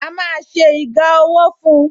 A má ṣe iga ọwọ́ fun